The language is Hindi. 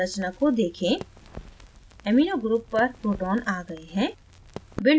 संरचना को देखें amino group पर प्रोटॉन आ गए हैं